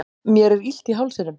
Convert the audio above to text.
mér er illt í hálsinum